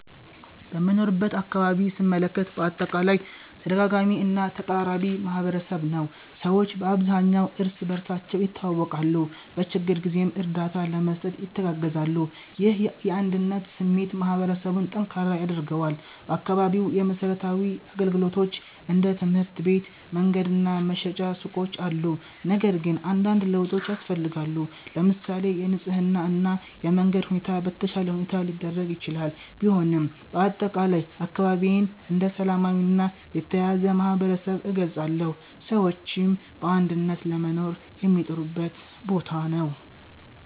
በምኖርበት አካባቢ ስመለከት በአጠቃላይ ተደጋጋሚ እና ተቀራራቢ ማህበረሰብ ነው። ሰዎች በአብዛኛው እርስ በርሳቸው ይተዋወቃሉ፣ በችግር ጊዜም እርዳታ ለመስጠት ይተጋገዛሉ። ይህ የአንድነት ስሜት ማህበረሰቡን ጠንካራ ያደርገዋል። በአካባቢው የመሠረታዊ አገልግሎቶች እንደ ትምህርት ቤት፣ መንገድ እና መሸጫ ሱቆች አሉ፣ ነገር ግን አንዳንድ ለውጦች ያስፈልጋሉ። ለምሳሌ የንጽህና እና የመንገድ ሁኔታ በተሻለ ሁኔታ ሊደረግ ይችላል። ቢሆንም በአጠቃላይ አካባቢዬን እንደ ሰላማዊ እና የተያያዘ ማህበረሰብ እገልጻለሁ፣ ሰዎችም በአንድነት ለመኖር የሚጥሩበት ቦታ ነው።